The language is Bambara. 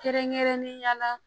Kɛrɛnkɛrɛn ne yala